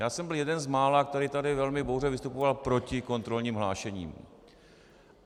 Já jsem byl jeden z mála, který tady velmi bouřlivě vystupoval proti kontrolním hlášením.